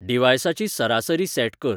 डिव्हाइसाची सरासरी सॅट कर